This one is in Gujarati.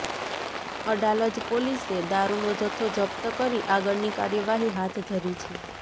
અડાલજ પોલીસે દારૂનો જથ્થો જપ્ત કરી આગળની કાર્યવાહી હાથ ધરી છે